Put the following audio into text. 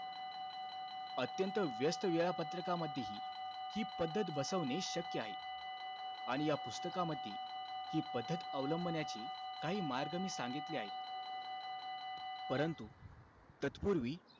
अत्यंत व्यस्त वेळापत्रकामध्येही, हि पद्धत बसवणे शक्य आहे. आणि या पुस्तकामध्ये, हि पद्धत अवलंबण्याचे काही मार्ग मी सांगितले आहे. परंतु, तत्पूर्वी,